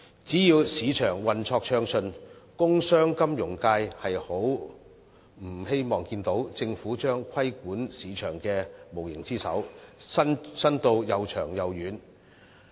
只要市場運作暢順，工商、金融界不希望看見政府將規管市場的無形之手伸到又長又遠。